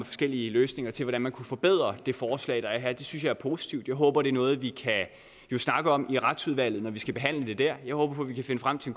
forskellige løsninger til hvordan man kan forbedre det forslag der er her det synes jeg er positivt jeg håber det er noget vi kan snakke om i retsudvalget når vi skal behandle det der jeg håber vi kan finde frem til